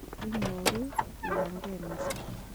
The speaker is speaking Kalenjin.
Inyooru iyangeii mising'.